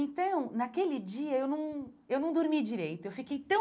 Então, naquele dia, eu não eu não dormi direito, eu fiquei tão...